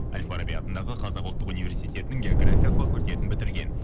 әл фараби атындағы қазақ ұлттық универститінің география факультетін бітірген